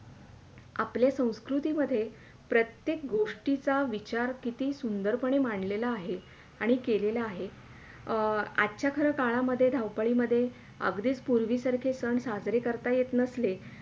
आपल्या संस्कृति मधे प्रत्येक गोष्टीचा विचार किती सुंदर पणे मांडलेला आहे आणि केलेला आहे अं आजच्या खरं काळामध्ये धावापळीमध्ये अगधीच पूर्वी सारखे सन साजरे करता येत नसले.